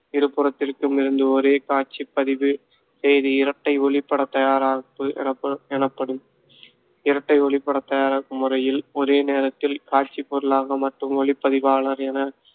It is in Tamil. இருபுறத்திற்கும் இருந்து ஒரே காட்சிப்பதிவு செய்து இரட்டை ஒளிப்படத் தயாராப்பு எனப்~ எனப்படும். இரட்டை ஒளிப்படத் தயாரிப்பு முறையில் ஒரே நேரத்தில் காட்சிப் பொருளாக மற்றும் ஒளிப்பதிவாளர் என